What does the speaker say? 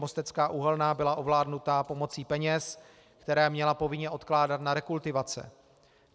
Mostecká uhelná byla ovládnuta pomocí peněz, které měla povinně odkládat na rekultivace.